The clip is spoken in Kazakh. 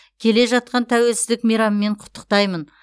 келе жатқан тәуелсіздік мейрамымен құттықтаймын